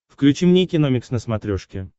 включи мне киномикс на смотрешке